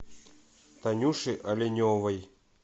танюши оленевой